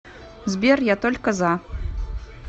сбер я только за